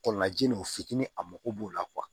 Kɔlɔnlajin u fitinin a mago b'o la